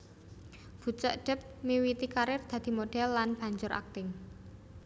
Bucek depp miwiti karir dadi modhel lan banjur akting